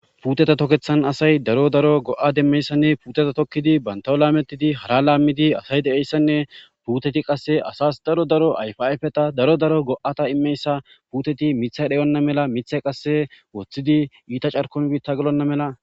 puuteta tokethan asay daro daro go7a demmeyssanne puuteta tokkidi bantawo laametidi hara laammidi asay de7eyssanne puuteti qasse asas daro daro ayfafeta daro daro go7ata immeyssa puuteti mithay dhayonna mela mithe qasse woththidi iita carkom biitta gelonna mela